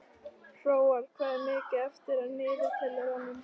Hróar, hvað er mikið eftir af niðurteljaranum?